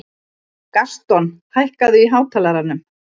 Gaston, hækkaðu í hátalaranum.